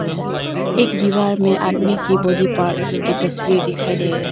दीवार में आदमी की बॉडी पार्ट्स की तस्वीर दिखाई दे रहा--